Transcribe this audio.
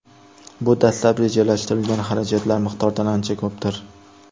Bu dastlab rejalashtirilgan xarajatlar miqdoridan ancha ko‘pdir.